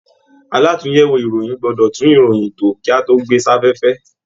Àlatúnyẹwò ìròyìn gbọdọ tún ìròyìn tó, kí a tó gbé safẹ́fẹ́.